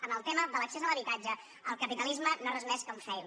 en el tema de l’accés a l’habitatge el capitalisme no és res més que un fail